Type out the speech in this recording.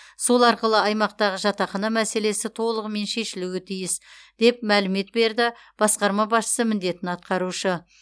сол арқылы аймақтағы жатақхана мәселесі толығымен шешілуі тиіс деп мәлімет берді басқарма басшысы міндетін атқарушы